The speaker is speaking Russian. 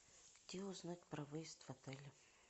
где узнать про выезд в отеле